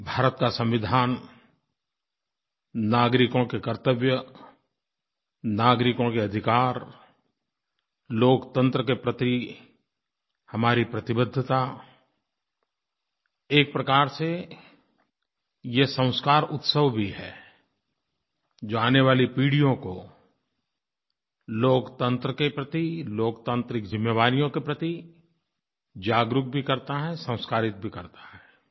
भारत का संविधान नागरिकों के कर्तव्य नागरिकों के अधिकार लोकतंत्र के प्रति हमारी प्रतिबद्धता एक प्रकार से ये संस्कार उत्सव भी है जो आने वाली पीढ़ियों को लोकतंत्र के प्रति लोकतान्त्रिक जिम्मेवारियों के प्रति जागरूक भी करता है संस्कारित भी करता है